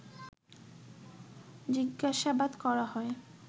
জিজ্ঞাসাবাদ করা হয়